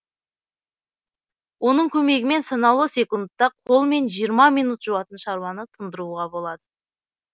оның көмегімен санаулы секундта қолмен жиырма минут жуатын шаруаны тындыруға болады